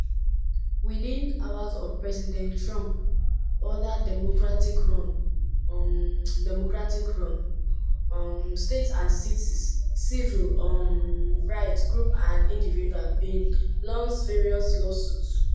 within hours of president trump order democratic-run um democratic-run um states and cities civil um rights groups and individuals bin launce various lawsuits.